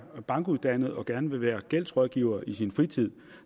bankuddannet og gerne vil være gældsrådgiver i sin fritid